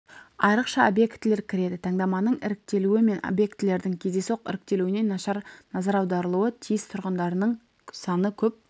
айрықша объектілер кіреді таңдаманың іріктелуі мен объектілердің кездейсоқ іріктелуіне ерекше назар аударылуы тиіс тұрғындарының саны көп